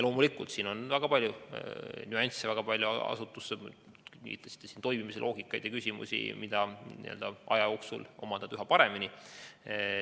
Loomulikult on siin väga palju nüansse, mitmesuguseid asutuse toimimise loogikaid ja hulk küsimusi, mida aja jooksul omandad üha paremini.